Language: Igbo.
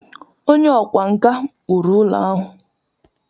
Onye ọkwá nkà kpụrụ ụlọ ahụ.